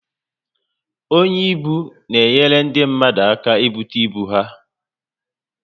Onye ibu n'enyere ndi mmadu aka n'bute ibu ha